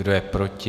Kdo je proti?